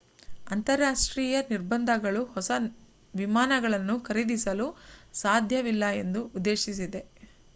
ಅಂತರರಾಷ್ಟ್ರೀಯ ನಿರ್ಬಂಧಗಳು ಹೊಸ ವಿಮಾನಗಳನ್ನು ಖರೀದಿಸಲು ಸಾಧ್ಯವಿಲ್ಲ ಎಂದು ಉದ್ದೇಶಿಸಿದೆ